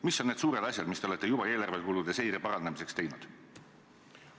" Mis on need suured asjad, mida te olete juba eelarvekulude seire parandamiseks teinud?